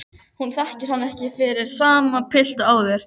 Hún þekkir hann ekki fyrir sama pilt og áður.